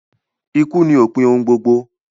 Ikú ni òpin ohun gbogbo